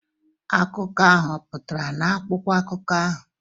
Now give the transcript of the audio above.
Akụkọ ahụ ọ̀ pụtara n'akwụkwọ akụkọ ahụ?